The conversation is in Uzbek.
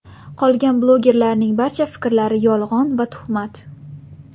Qolgan blogerlarning barcha fikrlari yolg‘on va tuhmat.